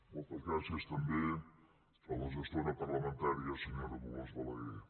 moltes gràcies també a la gestora parlamentària senyora dolors balagué